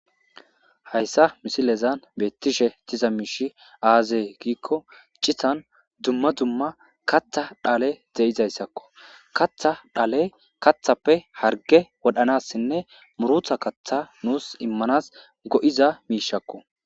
Hayssa misilezan beettishe tiza miishi aazee giikko cihan dumma dumma katha dhale ze'izayssakko katha dhale kathappe harge wodhanassinne murutha kaththa nuus immanas go'iza miishakko.